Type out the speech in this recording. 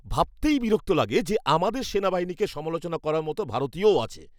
ভাবতেই বিরক্ত লাগে যে আমাদের সেনাবাহিনীকে সমালোচনা করার মতো ভারতীয়ও আছে!